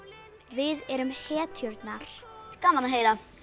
við erum hetjurnar gaman að heyra